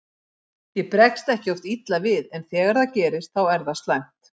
Ég bregst ekki oft illa við en þegar það gerist þá er það slæmt.